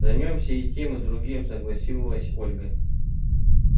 займёмся и тем и другим согласилась ольга